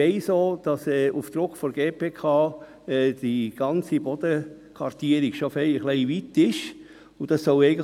Ich weiss im Zusammenhang mit der GPK, dass die Bodenkartierung bereits sehr weit ist.